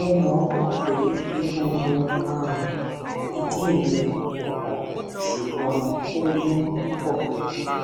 mo mọ mọ pé egungun um ìdí mi kò kán ṣùgbọn ó wú púpọ